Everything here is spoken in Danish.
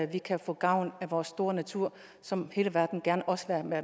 vi kan få gavn af vores store natur som hele verden også gerne